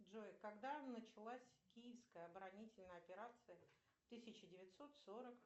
джой когда началась киевская оборонительная операция тысяча девятьсот сорок